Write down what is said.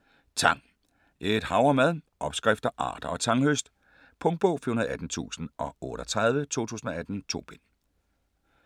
Tang: et hav af mad: opskrifter, arter og tanghøst Punktbog 418038 2018. 2 bind.